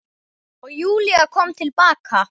Og Júlía kom til baka.